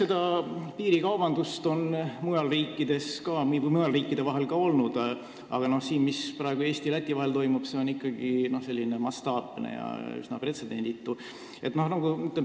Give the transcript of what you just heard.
Eks piirikaubandust on mujal riikides ka olnud, aga see, mis praegu teisel pool Läti piiri toimub, on üsna pretsedenditu ja mastaapne.